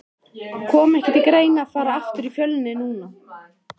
Kom ekki til greina að fara aftur í Fjölni núna?